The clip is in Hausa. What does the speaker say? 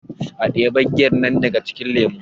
a debe giyar nan daga cikin lemo!